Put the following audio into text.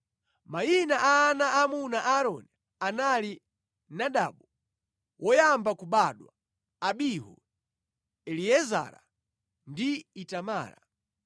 Mayina a ana aamuna a Aaroni anali Nadabu, woyamba kubadwa, Abihu, Eliezara ndi Itamara.